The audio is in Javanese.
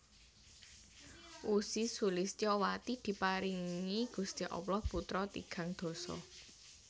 Ussy Sulistyowati diparingi Gusti Allah putra tigang dasa